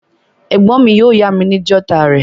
Ègbón mi yio yá mi ni jotter rè